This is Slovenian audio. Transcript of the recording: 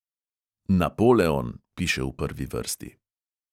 "Napoleon" piše v prvi vrsti.